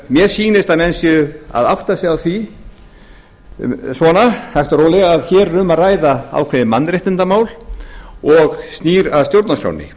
mér sýnist að menn séu að átta sig á því svona hægt og rólega að hér er um að ræða ákveðið mannréttindamál og snýr að stjórnarskránni